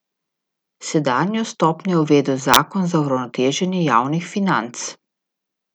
Sedanjo stopnjo je uvedel zakon za uravnoteženje javnih financ.